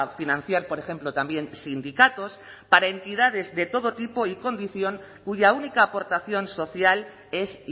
financiar por ejemplo también sindicatos para entidades de todo tipo y condición cuya única aportación social es